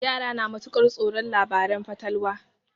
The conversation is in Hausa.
Yara na matuƙar tsoron labaren fatalwa.